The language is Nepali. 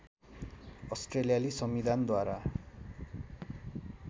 अस्ट्रेलियाली संविधानद्वारा